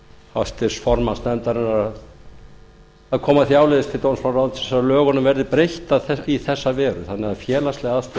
til háttvirts formanns nefndarinnar að koma því áleiðis til dómsmálaráðuneytisins að lögunum verði breytt í þessa veru þannig að félagslegar